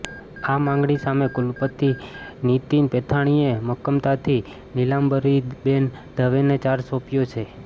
આ માંગણી સામે કુલપતિ નિતીન પેથાણીએ મક્કમતાથી નિલાંબરીબેન દવેને ચાર્જ સોંપ્યો છે